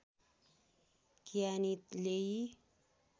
कियानी लेइ